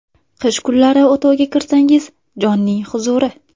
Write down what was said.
Qish kunlari o‘tovga kirsangiz jonning huzuri.